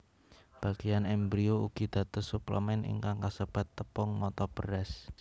Bagéyan embrio ugi dados suplemèn ingkang kasebat tepung mata beras